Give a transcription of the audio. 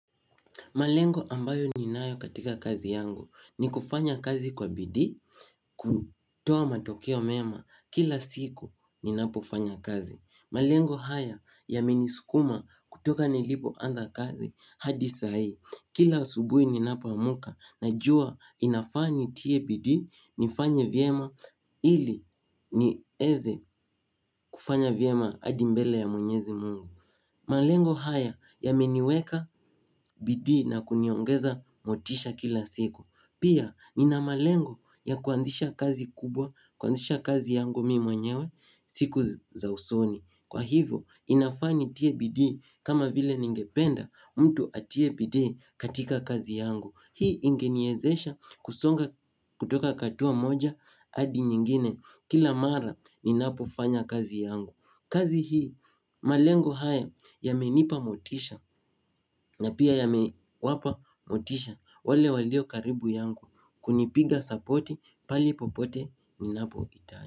Malengo ambayo ni nayo katika kazi yangu ni kufanya kazi kwa bidii kutoa matokeo mema kila siku ninapofanya kazi. Malengo haya yameniskuma kutoka nilipoanza kazi hadi saa hii kila usubuhi ninapo amka najua inafaa nitie bidii nifanye vyema ili nieze kufanya vyema hadi mbele ya mwenyezi mungu. Malengo haya yameniweka bidii na kuniongeza motisha kila siku. Pia nina malengo ya kuanzisha kazi kubwa, kuanzisha kazi yangu mimi mwenyewe siku za usoni. Kwa hivyo inafaa nitie bidii kama vile ningependa mtu atie bidii katika kazi yangu. Hii ingeniezesha kusonga kutoka hatua moja hadi nyingine kila mara ninapofanya kazi yangu. Kazi hii malengo haya yamenipa motisha na pia yamewapa motisha wale walio karibu yangu kunipiga sapoti pale popote ninapoitana.